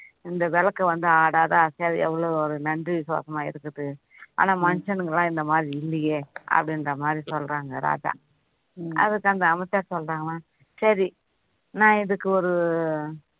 இந்த விளக்கு வந்து ஆடாத அசையாத எவ்வளோ நன்றி விசுவாசமா இருக்குது ஆனா மனிஷனுங்களாம் இந்த மாதிரி இல்லையே அப்படின்ற மாதிரி சொல்றாங்க ராஜா அதுக்கு அந்த அமைச்சார் சொல்றாங்களாம் சரி நான் இதுக்கு ஒரு